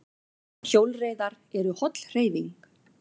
Hjólreiðar eru holl hreyfing